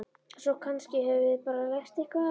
Svo kannski höfum við bara lært eitthvað á þessu.